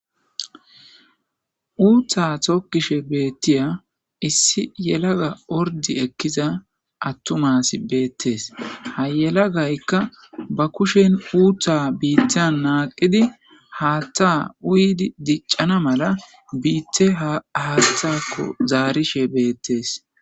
Uuththaa thokkishe beeththiya issi yelaga ordzdzi ekkiza aththumaasi beeththes; ha yelagaykka ba kushen uuththaa biiththan naaqqidi haaththaa uyidi diccana mala biiththee haaththaakko zaarishe beeththees.